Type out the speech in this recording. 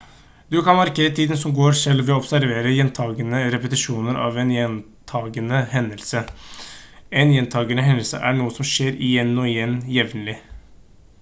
du kan markere tiden som går selv ved å observere gjentagende repetisjon av en gjentagende hendelse en gjentagende hendelse er noe som skjer igjen og igjen jevnlig